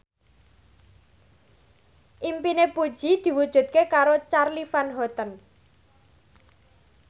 impine Puji diwujudke karo Charly Van Houten